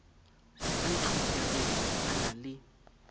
ba itlhophereng ba na le